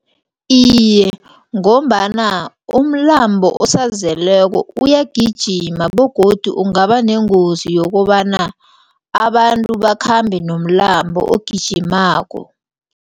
Iye, ngombana umlambo osazeleko uyagijima begodu ungabanengozi yokobana abantu bakhambe nomlambo ogijimako.